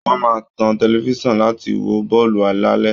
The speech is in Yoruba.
Wọ́n máa tan tẹlifisan láti wo bọ́ọ̀lù lálẹ